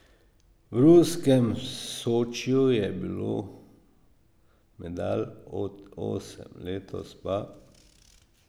V ruskem Sočiju je bilo medalj osem, letos pa...